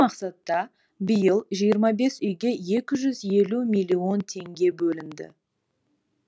мақсатта биыл жиырма бес үйге екі жүз елу миллион теңге бөлінді